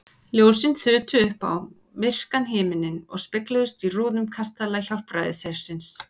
Ljósin þutu upp á myrkan himininn og spegluðust í rúðum kastala Hjálpræðishersins.